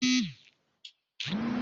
Zaki kai jaririn zuwa gado